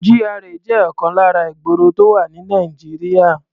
GRA jẹ́ ọ̀kan lára ìgboro tó wà ní Nàìjíríà.